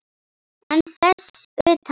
En þess utan?